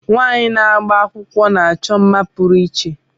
Nwaanyi na-agba akwụkwọ na-achọ mma pụrụ iche.